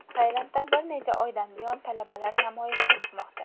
Tailandda bir necha oydan buyon talabalar namoyishga chiqmoqda.